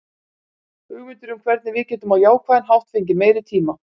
Hugmyndir um hvernig við getum á jákvæðan hátt fengið meiri tíma.